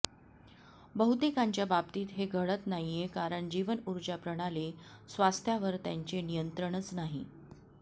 बहुतेकांच्या बाबतीत हे घडत नाहीये कारण जीवनऊर्जा प्रणाली स्वास्थ्यावर त्यांचे नियंत्रणच नाही